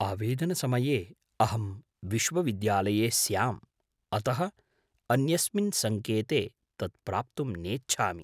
आवेदनसमये अहं विश्वविद्यालये स्याम्, अतः अन्यस्मिन् सङ्केते तत् प्राप्तुं नेच्छामि।